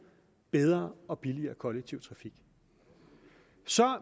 bedre og billigere kollektiv trafik